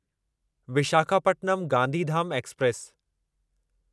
Visakhapatnam Gandhidham express